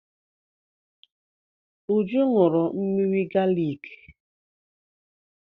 Uju ṅụrụ mmiri galiki.